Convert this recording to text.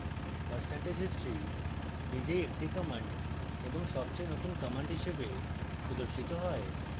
percentage history নিজেই একটি command এবং সবচেয়ে নতুন command হিসাবে প্রদর্শিত হয়